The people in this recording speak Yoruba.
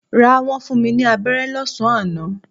Rár, wọn fún mi ní aberé lọ́sán-an àná.